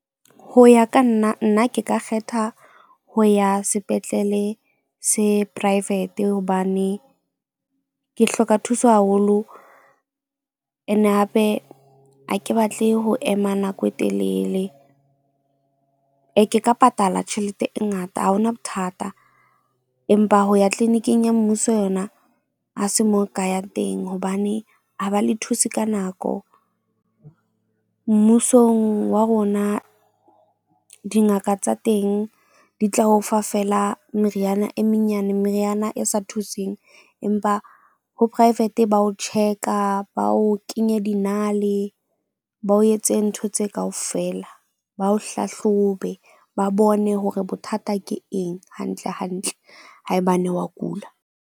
Ho ya ka nna nna ke ka kgetha ho ya sepetlele se private hobane ke hloka thuso haholo. Ene hape ha ke batle ho ema nako e telele. Ee, ke ka patala tjhelete e ngata ha ho na bothata. Empa ho ya clinic-ing ya mmuso yona ha se mo ka yang teng hobane ha ba le thuse ka nako. Mmusong wa rona dingaka tsa teng di tla o fa feela meriana e menyane meriana e sa thuseng. Empa ho private ba o tjheka ba o kenye dinale, ba o etse ntho tse kaofela, ba o hlahlobe. Ba bone hore bothata ke eng hantle hantle. Haebane wa kula.